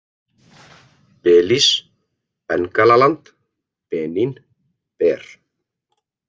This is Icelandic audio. Belís, Bengalaland, Benín, Ber